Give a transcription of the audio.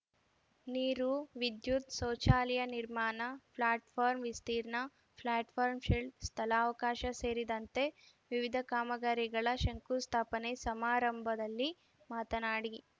ನೀರು ವಿದ್ಯುತ್‌ ಶೌಚಾಲಯ ನಿರ್ಮಾಣ ಪ್ಲಾಟ್‌ಫಾರ್ಮ್ ವಿಸ್ತೀರ್ಣ ಪ್ಲಾಟ್‌ಫಾರ್ಮ್ ಶೆಲ್ಟರ್‌ ಸ್ಥಳಾವಕಾಶ ಸೇರಿದಂತೆ ವಿವಿಧ ಕಾಮಗಾರಿಗಳ ಶಂಕುಸ್ಥಾಪನೆ ಸಮಾರಂಭದಲ್ಲಿ ಮಾತನಾಡಿ